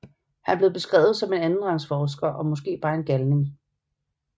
Han blev beskrevet som en andenrangsforsker og måske bare en galning